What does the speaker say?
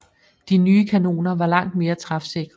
De nye kanoner var langt mere træfsikre